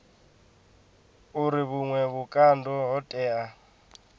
uri vhuṅwe vhukando ho tea